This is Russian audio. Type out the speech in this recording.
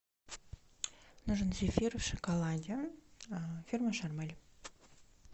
нужен зефир в шоколаде фирмы шармель